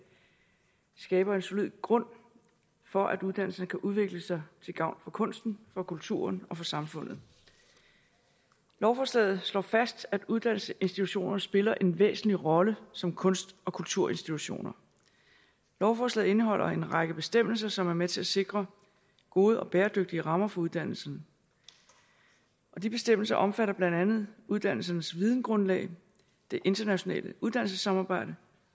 skaber en solid grund for at uddannelserne kan udvikle sig til gavn for kunsten og kulturen og samfundet lovforslaget slår fast at uddannelsesinstitutionerne spiller en væsentlig rolle som kunst og kulturinstitutioner lovforslaget indeholder en række bestemmelser som er med til at sikre gode og bæredygtige rammer for uddannelserne de bestemmelser omfatter blandt andet uddannelsernes vidensgrundlag det internationale uddannelsessamarbejde